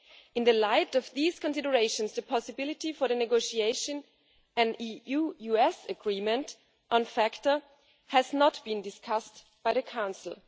In light of these considerations the possibility for the negotiation of an EU US agreement on FATCA has not been discussed by the Council.